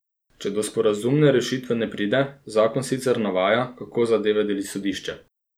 Če do sporazumne rešitve ne pride, zakon sicer navaja, kako zadeve deli sodišče.